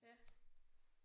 Ja